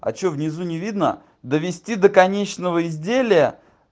а чё внизу не видно довести до конечного изделия